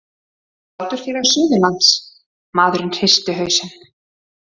Sláturfélag Suðurlands- maðurinn hristi hausinn.